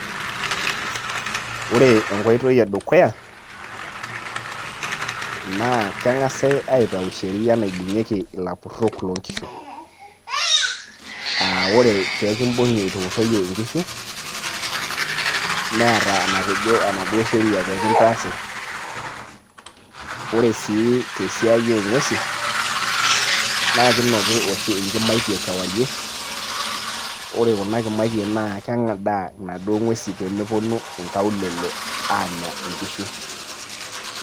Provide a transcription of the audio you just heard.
Ore enkoitoi edukuya, naa keng'asai atau sheria naibung'ieki ikapurrok lo nkishu. Ah ore pekibung'i itupurroyie nkishu, neeta enatejo enaduo sheria pe kintaasi. Ore si tesiai o ng'uesin, na kinoki oshi inkimaitie kewarie, ore kuna kimaitie naa keng'adaa naduo ng'uesin pemeponu inkaulele aanya inkishu.